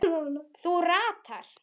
Þú ratar?